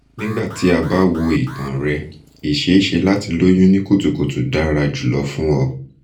nigbati a ba wo itan rẹ iṣeeṣe lati loyun ni kutukutu dara julọ fun ọ